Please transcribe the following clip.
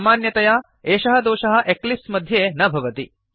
सामान्यतया एषः दोषः एक्लिप्स् मध्ये न भवति